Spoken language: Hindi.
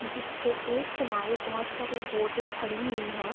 जिसके एक किनारे बहोत सारी बोटें खड़ी हुईं हैं।